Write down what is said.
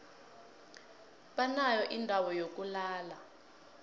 banayo indawo yokulala